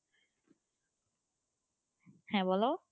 হ্যাঁ বলো,